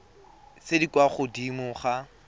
tse di kwa godimo ga